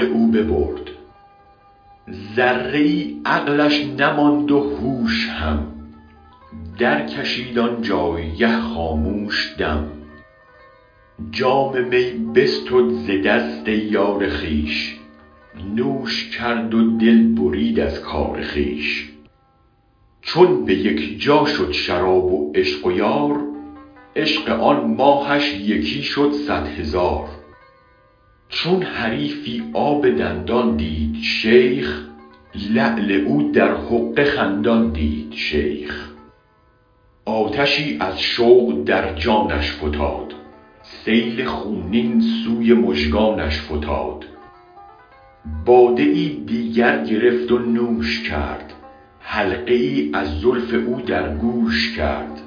او ببرد ذره ای عقلش نماند و هوش هم درکشید آن جایگه خاموش دم جام می بستد ز دست یار خویش نوش کرد و دل برید از کار خویش چون به یک جا شد شراب و عشق یار عشق آن ماهش یکی شد صد هزار چون حریفی آب دندان دید شیخ لعل او در حقه خندان دید شیخ آتشی از شوق در جانش فتاد سیل خونین سوی مژگانش فتاد باده ای دیگر گرفت و نوش کرد حلقه ای از زلف او در گوش کرد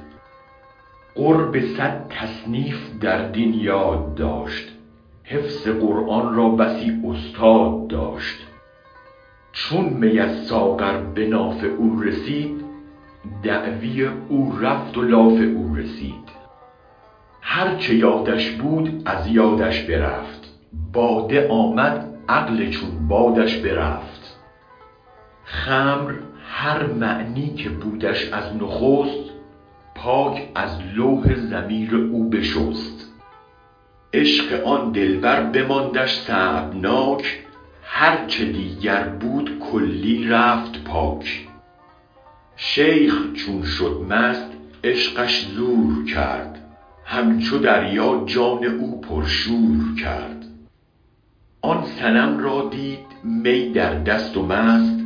قرب صد تصنیف در دین یاد داشت حفظ قرآن را بسی استاد داشت چون می از ساغر به ناف او رسید دعوی او رفت و لاف او رسید هرچه یادش بود از یادش برفت باده آمد عقل چون بادش برفت خمر هر معنی که بودش از نخست پاک از لوح ضمیر او بشست عشق آن دلبر بماندش صعبناک هرچه دیگر بود کلی رفت پاک شیخ چون شد مست عشقش زور کرد همچو دریا جان او پرشور کرد آن صنم را دید می در دست و مست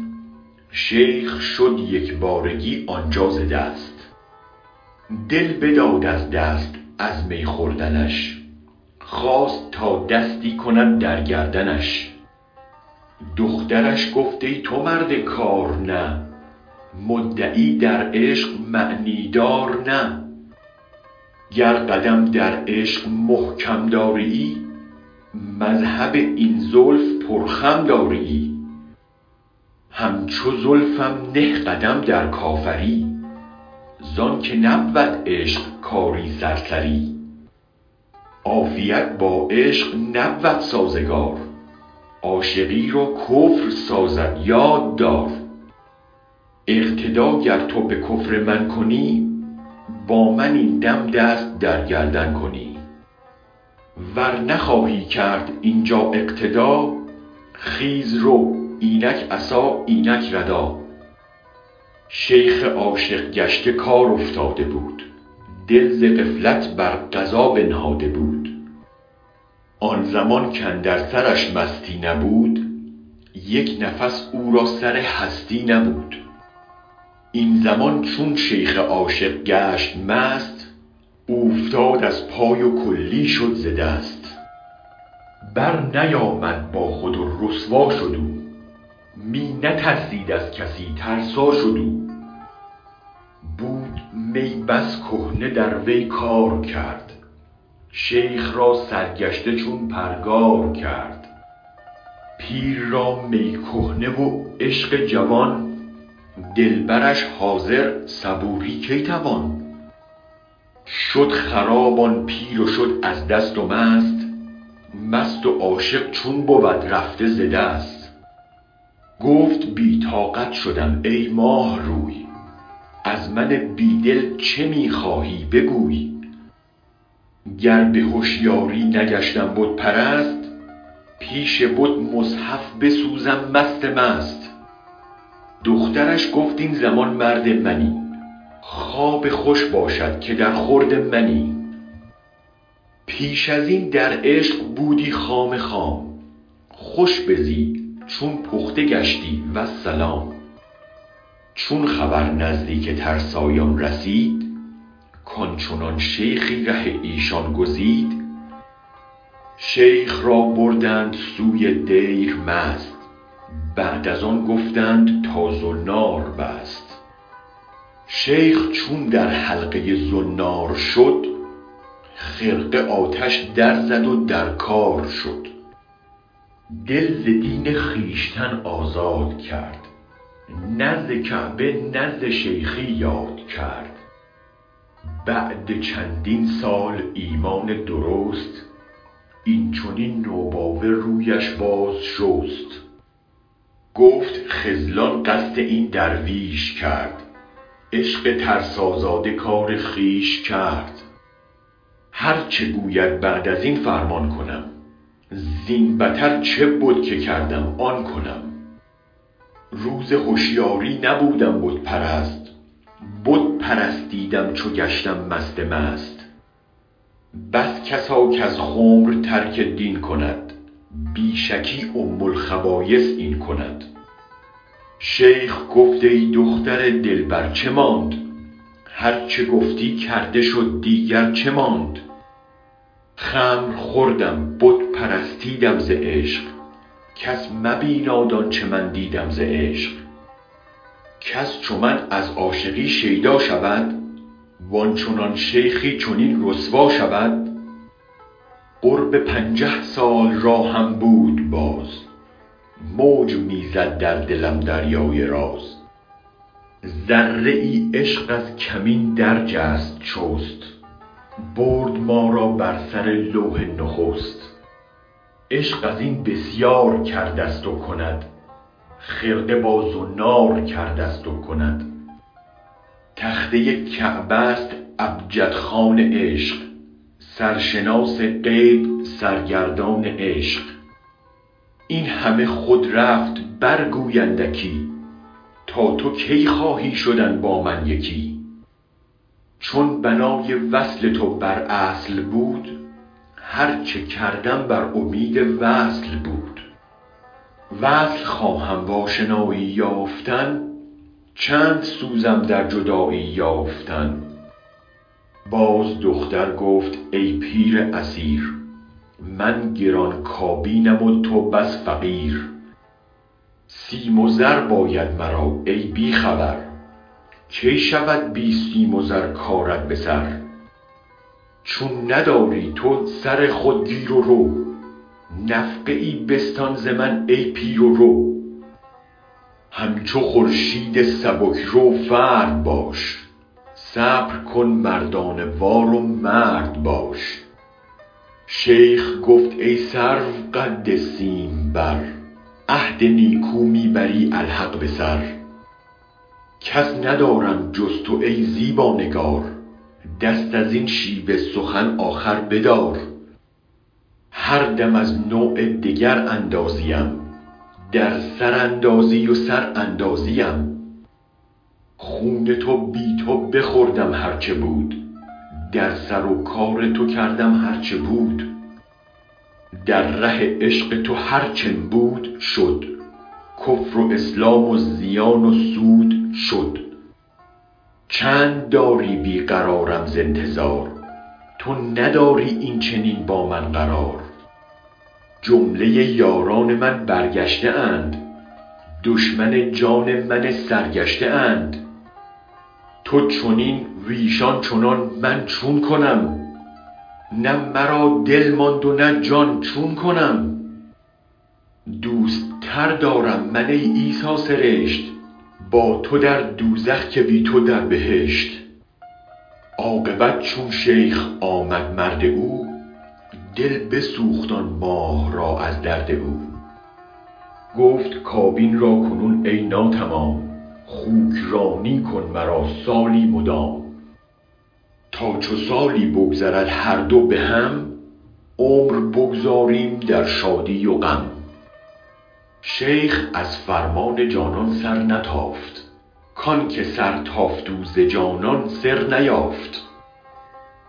شیخ شد یکبارگی آنجا ز دست دل بداد از دست از می خوردنش خواست تا دستی کند در گردنش دخترش گفت ای تو مرد کار نه مدعی در عشق معنی دار نه گر قدم در عشق محکم دارییی مذهب این زلف پر خم دارییی همچو زلفم نه قدم در کافری زآن که نبود عشق کار سرسری عافیت با عشق نبود سازگار عاشقی را کفر سازد یاد دار اقتدا گر تو به کفر من کنی با من این دم دست در گردن کنی ور نخواهی کرد اینجا اقتدا خیز رو اینک عصا اینک ردا شیخ عاشق گشته کار افتاده بود دل ز غفلت بر قضا بنهاده بود آن زمان کاندر سرش مستی نبود یک نفس او را سر هستی نبود این زمان چون شیخ عاشق گشت مست اوفتاد از پای و کلی شد ز دست برنیامد با خود و رسوا شد او می نترسید از کسی ترسا شد او بود می بس کهنه در وی کار کرد شیخ را سرگشته چون پرگار کرد پیر را می کهنه و عشق جوان دلبرش حاضر صبوری کی توان شد خراب آن پیر و شد از دست و مست مست و عاشق چون بود رفته ز دست گفت بی طاقت شدم ای ماه روی از من بی دل چه می خواهی بگوی گر به هشیاری نگشتم بت پرست پیش بت مصحف بسوزم مست مست دخترش گفت این زمان مرد منی خواب خوش بادت که در خورد منی پیش ازین در عشق بودی خام خام خوش بزی چون پخته گشتی والسلام چون خبر نزدیک ترسایان رسید کآن چنان شیخی ره ایشان گزید شیخ را بردند سوی دیر مست بعد از آن گفتند تا زنار بست شیخ چون در حلقه زنار شد خرقه آتش در زد و در کار شد دل ز دین خویشتن آزاد کرد نه ز کعبه نه ز شیخی یاد کرد بعد چندین سال ایمان درست این چنین نوباوه رویش باز شست گفت خذلان قصد این درویش کرد عشق ترسازاده کار خویش کرد هرچه گوید بعد از این فرمان کنم زین بتر چه بود که کردم آن کنم روز هشیاری نبودم بت پرست بت پرستیدم چو گشتم مست مست بس کسا کز خمر ترک دین کند بی شکی ام الخبایث این کند شیخ گفت ای دختر دلبر چه ماند هرچه گفتی کرده شد دیگر چه ماند خمر خوردم بت پرستیدم ز عشق کس مبیناد آنچه من دیدم ز عشق کس چو من از عاشقی شیدا شود و آن چنان شیخی چنین رسوا شود قرب پنجه سال راهم بود باز موج می زد در دلم دریای راز ذره ای عشق از کمین درجست چست برد ما را بر سر لوح نخست عشق از این بسیار کردست و کند خرقه با زنار کردست و کند تخته کعبه است ابجدخوان عشق سرشناس غیب سرگردان عشق این همه خود رفت برگوی اندکی تا تو کی خواهی شدن با من یکی چون بنای وصل تو بر اصل بود هرچه کردم بر امید وصل بود وصل خواهم و آشنایی یافتن چند سوزم در جدایی یافتن باز دختر گفت ای پیر اسیر من گران کابینم و تو بس فقیر سیم و زر باید مرا ای بی خبر کی شود بی سیم و زر کارت به سر چون نداری تو سر خود گیر و رو نفقه ای بستان ز من ای پیر و رو همچو خورشید سبک رو فرد باش صبر کن مردانه وار و مرد باش شیخ گفت ای سروقد سیم بر عهد نیکو می بری الحق به سر کس ندارم جز تو ای زیبا نگار دست ازین شیوه سخن آخر بدار هر دم از نوع دگر اندازیم در سر اندازی و سر اندازیم خون تو بی تو بخوردم هرچه بود در سر و کار تو کردم هرچه بود در ره عشق تو هر چم بود شد کفر و اسلام و زیان و سود شد چند داری بی قرارم ز انتظار تو ندادی این چنین با من قرار جمله یاران من برگشته اند دشمن جان من سرگشته اند تو چنین وایشان چنان من چون کنم نه مرا دل ماند و نه جان چون کنم دوست تر دارم من ای عیسی سرشت با تو در دوزخ که بی تو در بهشت عاقبت چون شیخ آمد مرد او دل بسوخت آن ماه را از درد او گفت کابین را کنون ای ناتمام خوک وانی کن مرا سالی مدام تا چو سالی بگذرد هر دو به هم عمر بگذاریم در شادی و غم شیخ از فرمان جانان سرنتافت کآن که سر تافت او ز جانان سر نیافت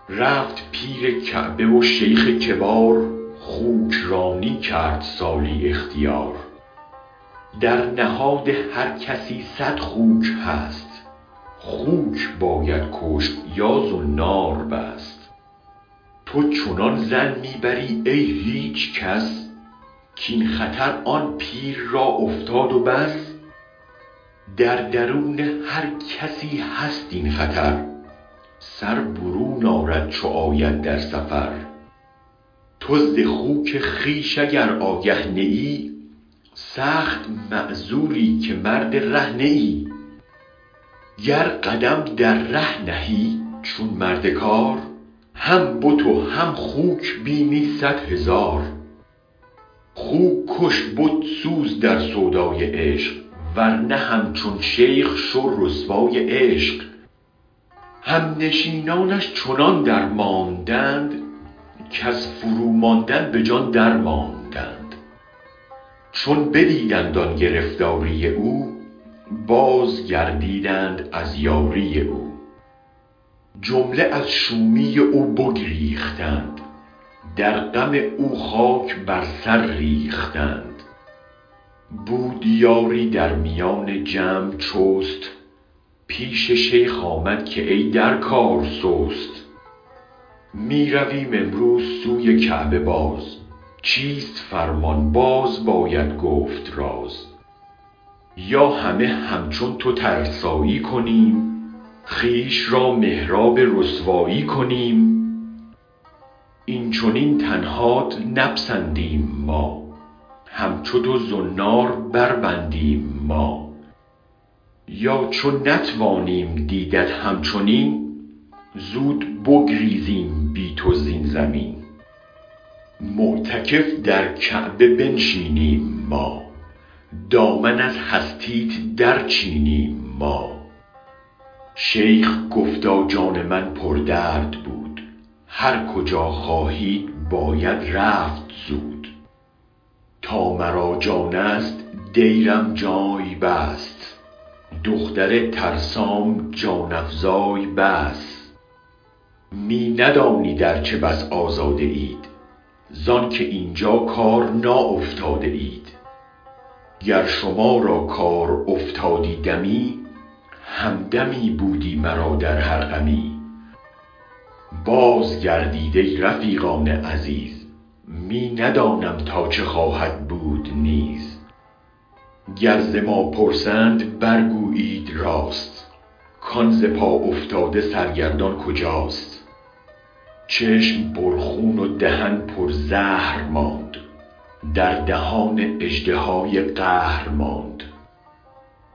رفت پیر کعبه و شیخ کبار خوک وانی کرد سالی اختیار در نهاد هر کسی صد خوک هست خوک باید کشت یا زنار بست تو چنان ظن می بری ای هیچ کس کاین خطر آن پیر را افتاد بس در درون هر کسی هست این خطر سر برون آرد چو آید در سفر تو ز خوک خویش اگر آگه نه ای سخت معذوری که مرد ره نه ای گر قدم در ره نهی چون مرد کار هم بت و هم خوک بینی صد هزار خوک کش بت سوز در سودای عشق ورنه همچون شیخ شو رسوای عشق هم نشینانش چنان درماندند کز فرو ماندن به جان درماندند چون بدیدند آن گرفتاری او بازگردیدند از یاری او جمله از شومی او بگریختند در غم او خاک بر سر ریختند بود یاری در میان جمع چست پیش شیخ آمد که ای در کار سست می رویم امروز سوی کعبه باز چیست فرمان باز باید گفت راز یا همه همچون تو ترسایی کنیم خویش را محراب رسوایی کنیم این چنین تنهات نپسندیم ما همچو تو زنار بربندیم ما یا چو نتوانیم دیدت هم چنین زود بگریزیم بی تو زین زمین معتکف در کعبه بنشینیم ما دامن از هستیت در چینیم ما شیخ گفتا جان من پر درد بود هر کجا خواهید باید رفت زود تا مرا جانست دیرم جای بس دختر ترسام جان افزای بس می ندانید ارچه بس آزاده اید زآن که اینجا کار ناافتاده اید گر شما را کار افتادی دمی همدمی بودی مرا در هر غمی باز گردید ای رفیقان عزیز می ندانم تا چه خواهد بود نیز گر ز ما پرسند برگویید راست کآن ز پا افتاده سرگردان کجاست چشم پر خون و دهن پر زهر ماند در دهان اژدهای قهر ماند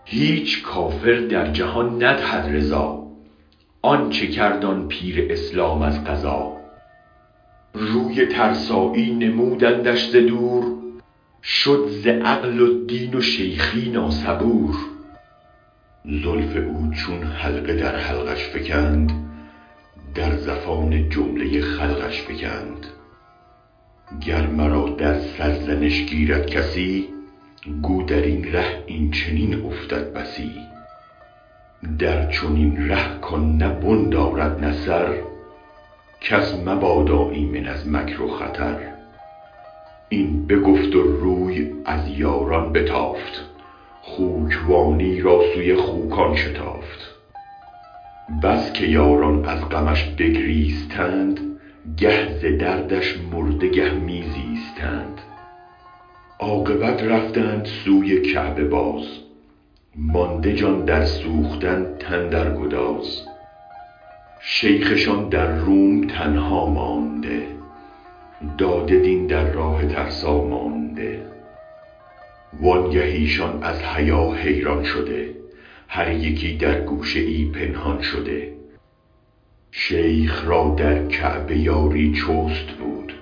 هیچ کافر در جهان ندهد رضا آنچه کرد آن پیر اسلام از قضا روی ترسایی نمودندش ز دور شد ز عقل و دین و شیخی ناصبور زلف او چون حلقه در حلقش فکند در زفان جمله خلقش فکند گر مرا در سرزنش گیرد کسی گو درین ره این چنین افتد بسی در چنین ره کآن نه بن دارد نه سر کس مبادا ایمن از مکر و خطر این بگفت و روی از یاران بتافت خوک وانی را سوی خوکان شتافت بس که یاران از غمش بگریستند گه ز دردش مرده گه می زیستند عاقبت رفتند سوی کعبه باز مانده جان در سوختن تن در گداز شیخشان در روم تنها مانده داده دین در راه ترسا مانده وآنگه ایشان از حیا حیران شده هر یکی در گوشه ای پنهان شده شیخ را در کعبه یاری چست بود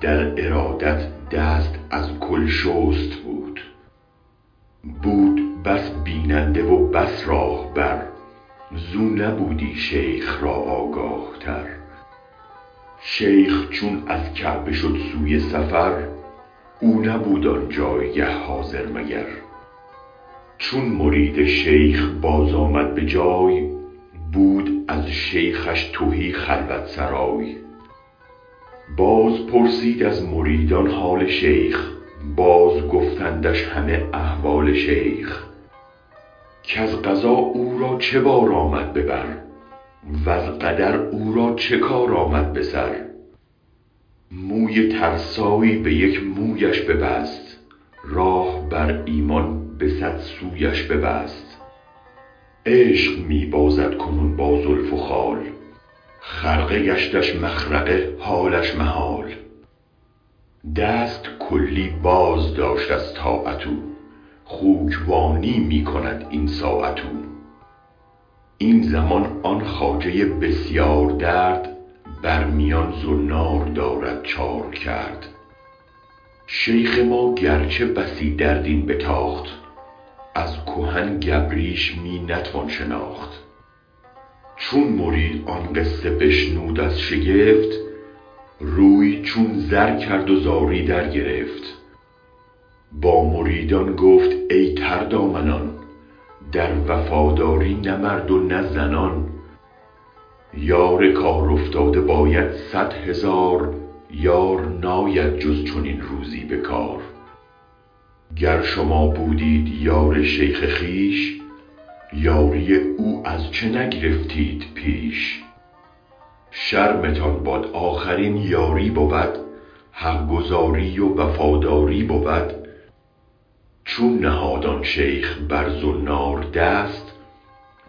در ارادت دست از کل شست بود بود بس بیننده و بس راهبر زو نبودی شیخ را آگاه تر شیخ چون از کعبه شد سوی سفر او نبود آنجایگه حاضر مگر چون مرید شیخ باز آمد به جای بود از شیخش تهی خلوت سرای باز پرسید از مریدان حال شیخ باز گفتندش همه احوال شیخ کز قضا او را چه بار آمد به بر وز قدر او را چه کار آمد به سر موی ترسایی به یک مویش ببست راه بر ایمان به صد سویش ببست عشق می بازد کنون با زلف و خال خرقه گشتش مخرقه حالش محال دست کلی بازداشت از طاعت او خوک وانی می کند این ساعت او این زمان آن خواجه بسیار درد بر میان زنار دارد چار کرد شیخ ما گرچه بسی در دین بتاخت از کهن گبریش می نتوان شناخت چون مرید آن قصه بشنود از شگفت روی چون زر کرد و زاری درگرفت با مریدان گفت ای تر دامنان در وفاداری نه مرد و نه زنان یار کار افتاده باید صد هزار یار ناید جز چنین روزی به کار گر شما بودید یار شیخ خویش یاری او از چه نگرفتید پیش شرمتان باد آخر این یاری بود حق گزاری و وفاداری بود چون نهاد آن شیخ بر زنار دست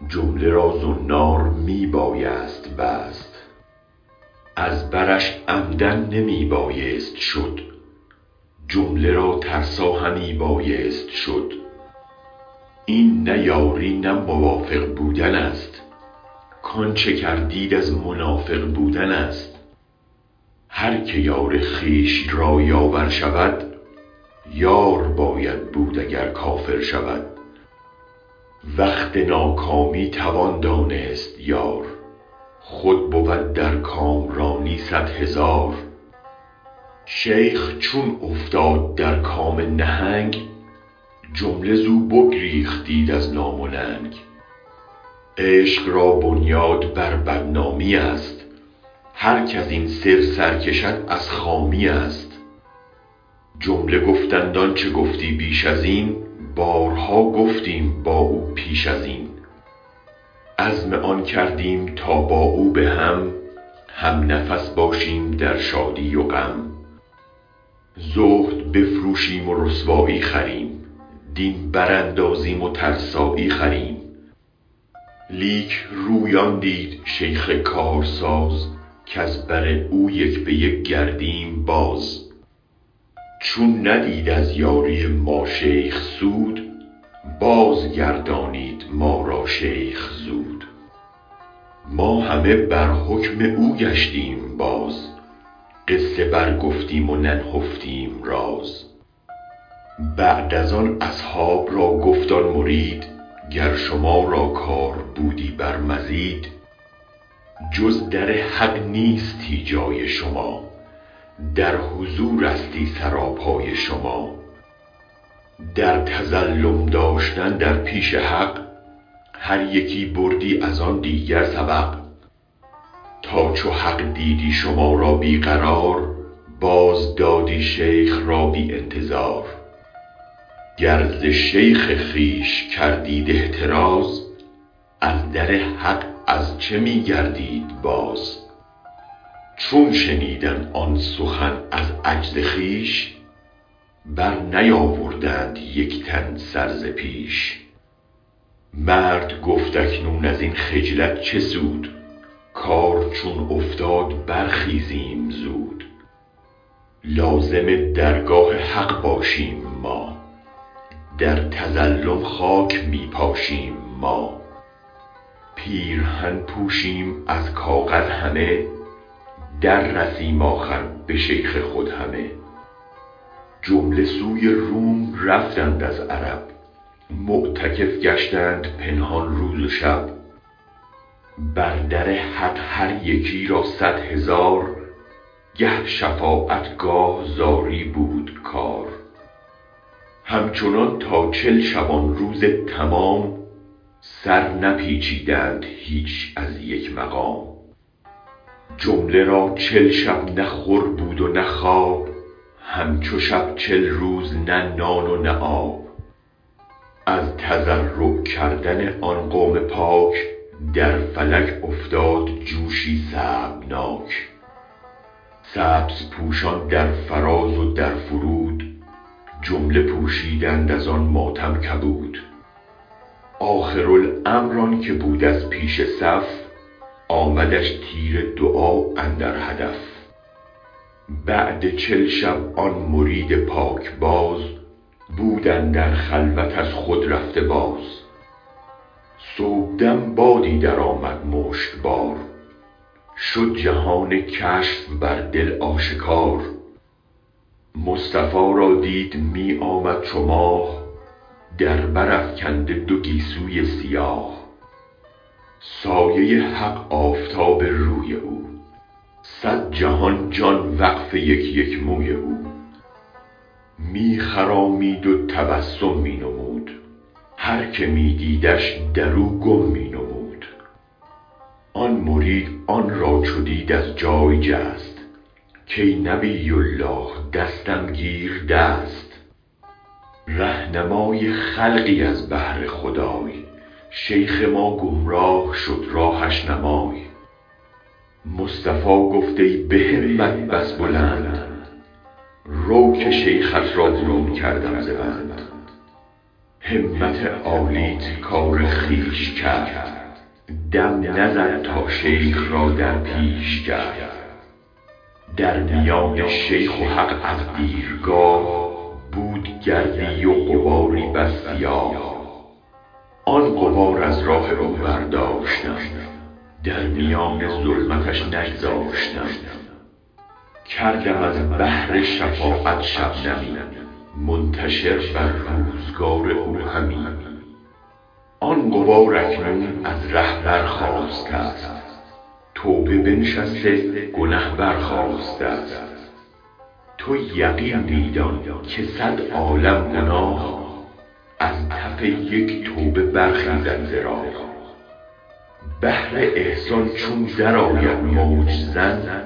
جمله را زنار می بایست بست از برش عمدا نمی بایست شد جمله را ترسا همی بایست شد این نه یاری و موافق بودنست کآنچه کردید از منافق بودنست هرکه یار خویش را یاور شود یار باید بود اگر کافر شود وقت ناکامی توان دانست یار خود بود در کامرانی صد هزار شیخ چون افتاد در کام نهنگ جمله زو بگریختید از نام و ننگ عشق را بنیاد بر بدنامی است هرک ازین سر سرکشد از خامی است جمله گفتند آنچه گفتی بیش ازین بارها گفتیم با او پیش ازین عزم آن کردیم تا با او به هم هم نفس باشیم در شادی و غم زهد بفروشیم و رسوایی خریم دین براندازیم و ترسایی خریم لیک روی آن دید شیخ کارساز کز بر او یک به یک گردیم باز چون ندید از یاری ما شیخ سود بازگردانید ما را شیخ زود ما همه بر حکم او گشتیم باز قصه برگفتیم و ننهفتیم راز بعد از آن اصحاب را گفت آن مرید گر شما را کار بودی بر مزید جز در حق نیستی جای شما در حضورستی سرا پای شما در تظلم داشتن در پیش حق هر یکی بردی از آن دیگر سبق تا چو حق دیدی شما را بی قرار بازدادی شیخ را بی انتظار گر ز شیخ خویش کردید احتراز از در حق از چه می گردید باز چون شنیدند آن سخن از عجز خویش برنیاوردند یک تن سر ز پیش مرد گفت اکنون ازین خجلت چه سود کار چون افتاد برخیزیم زود لازم درگاه حق باشیم ما در تظلم خاک می پاشیم ما پیرهن پوشیم از کاغذ همه در رسیم آخر به شیخ خود همه جمله سوی روم رفتند از عرب معتکف گشتند پنهان روز و شب بر در حق هر یکی را صد هزار گه شفاعت گاه زاری بود کار همچنان تا چل شبانروز تمام سر نپیچیدند هیچ از یک مقام جمله را چل شب نه خور بود و نه خواب هم چو شب چل روز نه نان و نه آب از تضرع کردن آن قوم پاک در فلک افتاد جوشی صعبناک سبزپوشان در فراز و در فرود جمله پوشیدند از آن ماتم کبود آخرالامر آن که بود از پیش صف آمدش تیر دعا اندر هدف بعد چل شب آن مرید پاکباز بود اندر خلوت از خود رفته باز صبحدم بادی درآمد مشکبار شد جهان کشف بر دل آشکار مصطفی را دید می آمد چو ماه در بر افکنده دو گیسوی سیاه سایه حق آفتاب روی او صد جهان جان وقف یک یک موی او می خرامید و تبسم می نمود هرکه می دیدش در او گم می نمود آن مرید آن را چو دید از جای جست کای نبی الله دستم گیر دست رهنمای خلقی از بهر خدای شیخ ما گمراه شد راهش نمای مصطفی گفت ای به همت بس بلند رو که شیخت را برون کردم ز بند همت عالیت کار خویش کرد دم نزد تا شیخ را در پیش کرد در میان شیخ و حق از دیرگاه بود گردی و غباری بس سیاه آن غبار از راه او برداشتم در میان ظلمتش نگذاشتم کردم از بحر شفاعت شبنمی منتشر بر روزگار او همی آن غبار اکنون ز ره برخاستست توبه بنشسته گنه برخاستست تو یقین می دان که صد عالم گناه از تف یک توبه برخیزد ز راه بحر احسان چون درآید موج زن